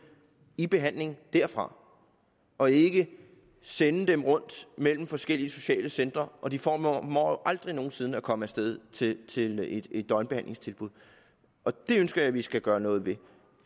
i behandling derfra og ikke sende dem rundt mellem forskellige sociale centre for de formår aldrig nogen sinde at komme af sted til til et et døgnbehandlingstilbud det ønsker jeg vi skal gøre noget ved